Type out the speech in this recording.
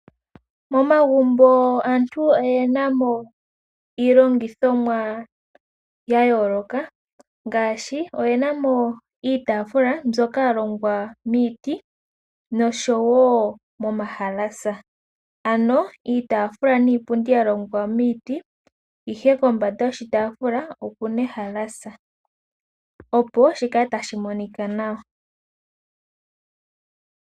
Momagumbo aantu oye na mo iilongithomwa ya yooloka, ngaashi oye na mo iitaafula mbyoka ya longwa miiti nosho wo momahalasa, ano iitaafula niipundi ya longwa miiti, ihe kombanda yoshitaafula oku na ehalasa, opo shi kale tashi monika nawa.